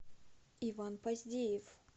иван поздеев